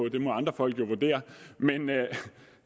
det må andre folk jo vurdere men